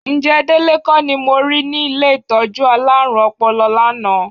Ǹjẹ́ Délé kọ́ ni mo rí ní ilé ìtọ́jú alárùn ọpọlọ lánàá?